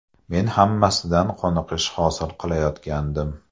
Men hammasidan qoniqish hosil qilayotgandim.